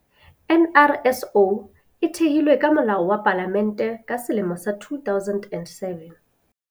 NRSO e thehilwe ka Molao wa Palamente ka selemo sa 2007.